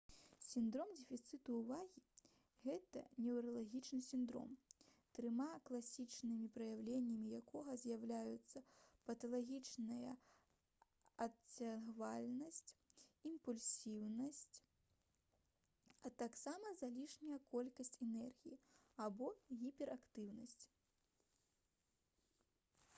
сіндром дэфіцыту ўвагі — гэта «неўралагічны сіндром трыма класічнымі праяўленнямі якога з'яўляюцца паталагічная адцягвальнасць імпульсіўнасць а таксама залішняя колькасць энергіі або гіперактыўнасць»